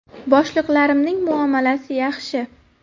Boshliqlarimning muomalasi yaxshi.